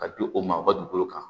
Ka di o maa u ka dugukolo kan